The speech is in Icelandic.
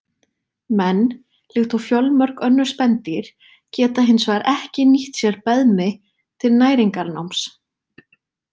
Menn, líkt og fjölmörg önnur spendýr, geta hins vegar ekki nýtt sér beðmi til næringarnáms.